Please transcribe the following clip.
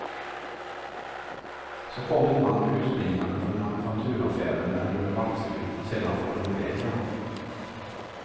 Så kom en man utspringande från manufakturaffären med en rulle vaxduk, och sedan for de iväg igen.